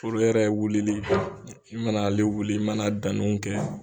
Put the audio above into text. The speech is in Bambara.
yɛrɛ wulili i mana ale wuli i mana danniw kɛ.